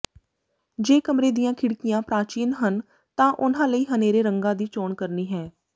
ਜੇ ਕਮਰੇ ਦੀਆਂ ਖਿੜਕੀਆਂ ਪ੍ਰਾਚੀਨ ਹਨ ਤਾਂ ਉਨ੍ਹਾਂ ਲਈ ਹਨੇਰੇ ਰੰਗਾਂ ਦੀ ਚੋਣ ਕਰਨੀ ਹੈ